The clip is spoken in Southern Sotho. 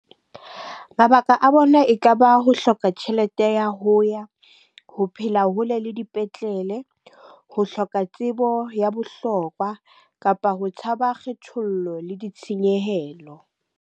Mabaka a bona e kaba ho hloka tjhelete ya ho ya, ho phela hole le dipetlele, ho hloka tsebo ya bohlokwa, kapa ho tshaba kgethollo le ditshenyehelo.